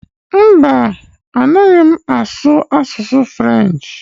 Mba, a naghị m asụ French